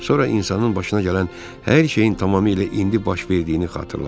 Sonra insanın başına gələn hər şeyin tamamilə indi baş verdiyini xatırladım.